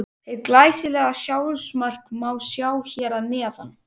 Hið glæsilega sjálfsmark má sjá hér að neðan.